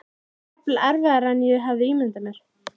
Það var jafnvel erfiðara en ég hafði ímyndað mér.